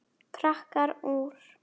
Krakkar úr